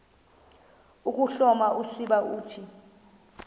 ukuhloma usiba uthi